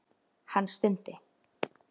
Hann stundi.